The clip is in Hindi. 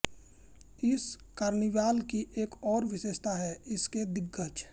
इस कार्निवाल की एक और विशेषता है इसके दिग्गज